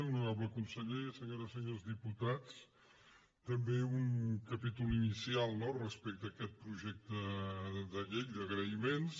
honorable conseller senyores senyors diputats també un capítol inicial no respecte a aquest projecte de llei d’agraïments